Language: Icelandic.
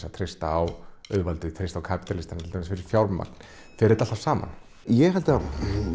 að treysta á auðvaldið kapítalista fyrir fjármögnun fer þetta alltaf saman ég held að